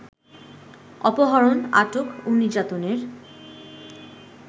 অপহরণ, আটক ও নির্যাতনের